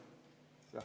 Jah.